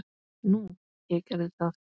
Nú, ég gerði það.